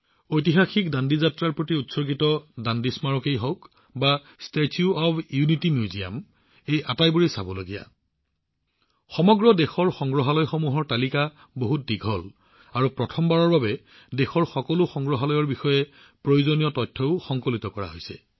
ঐতিহাসিক দাণ্ডী মাৰ্চৰ বাবে উৎসৰ্গিত দাণ্ডী স্মাৰক হওক বা ষ্টেচু অব্ ইউনিটী মিউজিয়াম হওক ঠিক আছে মই ইয়াতে ৰব লাগিব কিয়নো সমগ্ৰ দেশৰ সংগ্ৰহালয়সমূহৰ তালিকা অতি দীঘল আৰু প্ৰথমবাৰৰ বাবে দেশৰ সকলো সংগ্ৰহালয়ৰ বিষয়ে প্ৰয়োজনীয় তথ্যও সংকলিত কৰা হৈছে